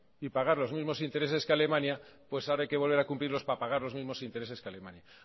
y pagar los mismos intereses que alemania pues ahora hay que volver a cumplirlos para pagar los mismos intereses que alemania